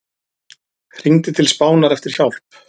Hringdi til Spánar eftir hjálp